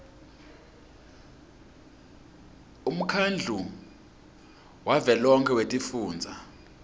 umkhandlu wavelonkhe wetifundza